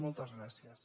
moltes gràcies